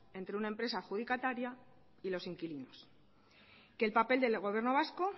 entre una empresa adjudicataria y los inquilinos que el papel del gobierno vasco